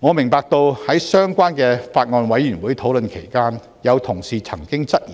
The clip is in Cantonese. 我明白到在相關的法案委員會討論期間，有同事曾經質疑，